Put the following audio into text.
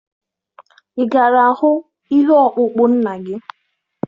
Ị gara hụ ihe ọkpụkpụ nna gị?